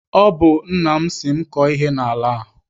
Ọ bụ nna m sị m kọọ ihe n'ala a.